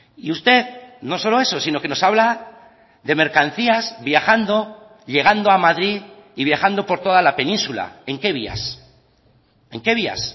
y usted no solo eso sino que nos habla de mercancías viajando llegando a madrid y viajando por toda la península en qué vías en qué vías